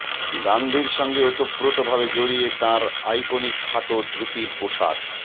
গান্ধীর সঙ্গে ওতোপ্রোতভাবে জড়িয়ে তাঁর আইকনিক খাটো ধুতির পোশাক